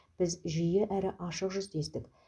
біз жиі әрі ашық жүздестік